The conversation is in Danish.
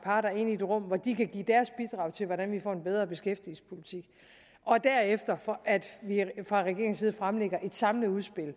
parter ind i et rum hvor de kan give deres bidrag til hvordan vi får en bedre beskæftigelsespolitik og derefter at vi fra regeringens side fremlægger et samlet udspil og